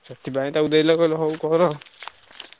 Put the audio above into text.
ସେଥିପାଇଁ ତାକୁ ଦେଲେ କହିଲେ ହଉ କର।